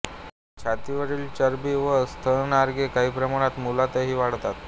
छातीवरील चरबी व स्तनाग्रे काही प्रमाणात मुलातही वाढतात